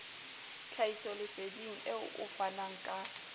tlhahisoleseding eo o fanang ka